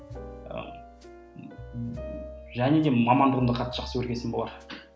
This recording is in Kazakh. және де мамандығымды қатты жақсы көрген соң болар